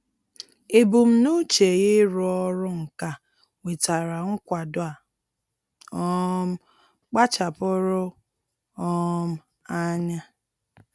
Ebumnuche ya ịrụ ọrụ nka nwetara nkwado a um kpachapụụrụ um anya.